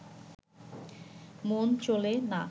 মন চলে না